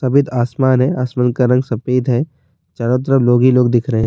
سفید اسمان ہے اسمان کا رنگ سفید ہے چاروں طرف گھری گھری دکھ رہے ہیں-